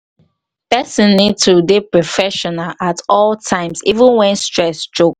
person need to dey professional at all time even when stress choke